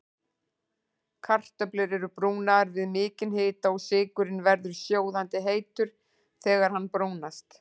Kartöflur eru brúnaðar við mikinn hita og sykurinn verður sjóðandi heitur þegar hann brúnast.